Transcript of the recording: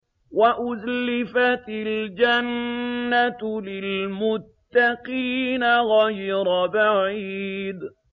وَأُزْلِفَتِ الْجَنَّةُ لِلْمُتَّقِينَ غَيْرَ بَعِيدٍ